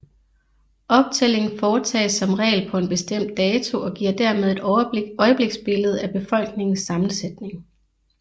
Optællingen foretages som regel på en bestemt dato og giver dermed et øjebliksbillede af befolkningens sammensætning